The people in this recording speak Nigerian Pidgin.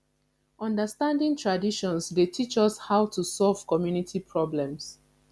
understanding traditions dey teach us how to solve community problems